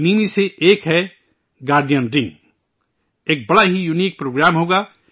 ان ہی میں سے ایک ہے گارڈین رنگ ایک بڑا ہی یونک پروگرام ہوگا